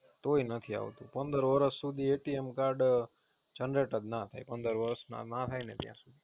તોય નથી આવતું, પંદર વરસ સુધી Generate card જ ના થાય પંદર વરસ ના ના થાય ત્યાં સુધી